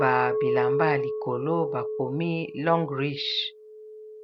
ba bilamba ya likolo bakomi long rich